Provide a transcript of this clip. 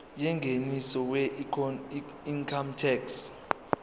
yengeniso weincome tax